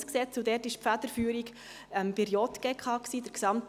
die Federführung lag dabei bei der JGK.